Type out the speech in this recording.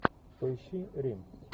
поищи рим